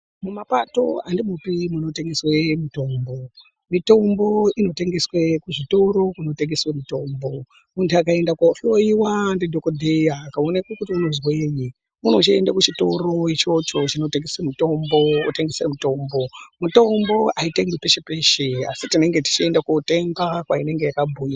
Mumapato andimwopi munotengeswa mitombo. Mitombo inotengeswa muzvitoro kunotengeswa mitombo. Muntu akaenda kohloyiwa ndi dhokodheya akaonekwa kuti unozwei unochienda kuchitoro chinotengeswa mitombo otenga mutombo. Mitombo aitengeswi peshe peshe asi tinenge tichienda kotenga kwainenge iri.